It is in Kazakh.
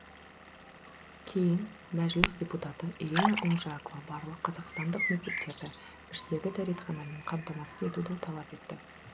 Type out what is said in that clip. кейін мәжіліс депутаты ирина унжакова барлық қазақстандық мектептерді іштегі дәретханамен қамтамасыз етуді талап етті